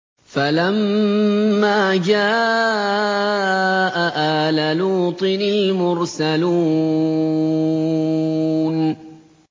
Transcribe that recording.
فَلَمَّا جَاءَ آلَ لُوطٍ الْمُرْسَلُونَ